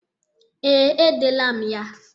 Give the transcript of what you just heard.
Ee, edele m ya.